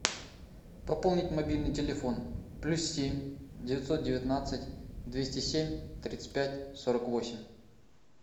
пополнить мобильный телефон плюс семь девятьсот девятнадцать двести семь тридцать пять сорок восемь